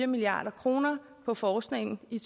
milliard kroner på forskningen i